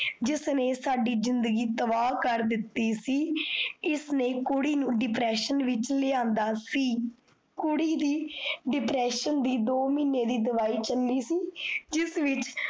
ਜਿਸ ਨੇ ਸਾਡੀ ਜ਼ਿੰਦਗੀ ਤਬਾਹ ਕਰ ਦਿੱਤੀ ਸੀ। ਇਸ ਨੇ ਕੁੜੀ ਨੂੰ depression ਵਿੱਚ ਲੈ ਆਂਦਾ ਸੀ, ਕੁੜੀ ਦੀ depression ਦੀ ਦੋ ਮੀਨੇ ਦੀ ਦਿਵਾਈ ਚੱਲੀ ਸੀ। ਜਿਸ ਵਿੱਚ